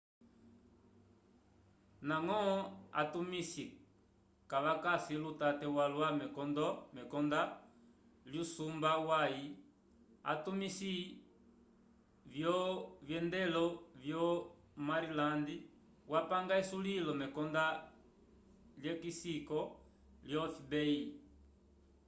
ndañgo atumisi kavakasi lutate walwa mekondo lyusumba wuyaki atumisi vyovyendelo vyo maryland wapanga esulilo mekonda lyekisiko lyo fbi